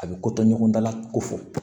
A bɛ kotɔ ɲɔgɔn dala kofɔ